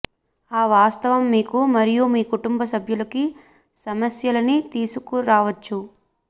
ఆ వాస్తవం మీకు మరియు మీ కుంటుంబ సభ్యులకి సమస్యలని తీసుకురావచ్చు